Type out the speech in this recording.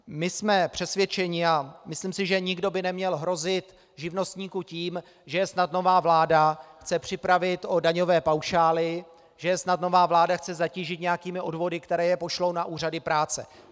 My jsme přesvědčeni - a myslím si, že nikdo by neměl hrozit živnostníkům tím, že je snad nová vláda chce připravit o daňové paušály, že je snad nová vláda chce zatížit nějakými odvody, které je pošlou na úřady práce.